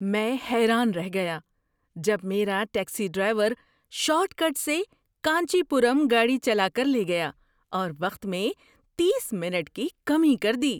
میں حیران رہ گیا جب میرا ٹیکسی ڈرائیور شارٹ کٹ سے کانچی پورم گاڑی چلا کر لے گیا اور وقت میں تیس منٹ کی کمی کر دی!